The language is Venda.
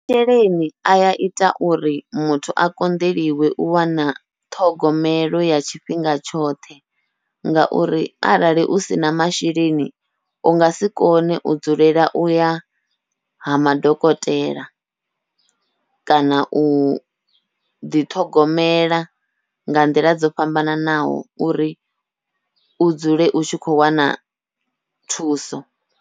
Masheleni aya ita uri muthu a konḓeliwe u wana ṱhogomelo ya tshifhinga tshoṱhe, ngauri arali u sina masheleni u ngasi kone u dzulela uya ha madokotela kana uḓi ṱhogomela nga nḓila dzo fhambananaho uri u dzule u tshi kho wana thuso.